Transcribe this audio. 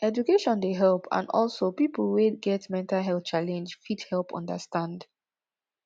education dey help and also pipo wey get mental health challenge fit help understand